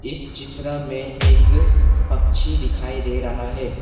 इस चित्र में एक पक्षी दिखाई दे रहा है।